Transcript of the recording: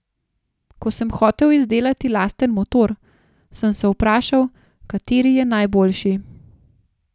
Ko sem hotel izdelati lasten motor, sem se vprašal, kateri je najboljši.